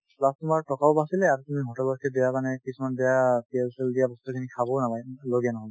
plus তোমাৰ টকাও বাচিলে আৰু তুমি hotel ত সেই বেয়া মানে কিছুমান বেয়া তেল-চেল দিয়া বস্তু খিনি খাবও নালাগে উম লগীয়া